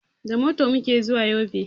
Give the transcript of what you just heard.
Da mota muke zuwa yobe